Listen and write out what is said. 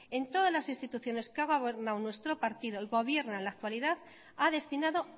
en todas las instituciones que ha gobernado nuestro partido y gobierna en la actualidad ha destinado